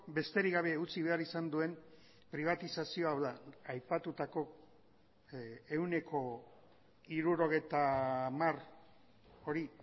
besterik gabe utzi behar izan duen pribatizazioa hau da aipatutako ehuneko hirurogeita hamar hori